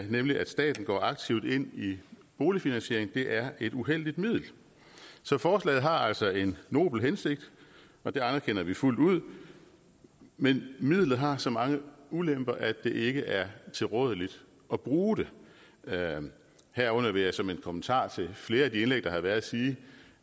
nemlig at staten går aktivt ind i boligfinansieringen er et uheldigt middel så forslaget har altså en nobel hensigt og det anerkender vi fuldt ud men midlet har så mange ulemper at det ikke er tilrådeligt at bruge det herunder vil jeg som en kommentar til flere af de indlæg der har været sige